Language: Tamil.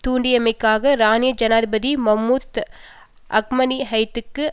தூண்டியமைக்காக ஈரானிய ஜனாதிபதி மஹ்முத் அஹ்மதினிஜத்துக்கு